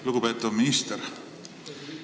Lugupeetav minister!